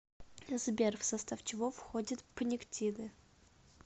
сбер в состав чего входит пниктиды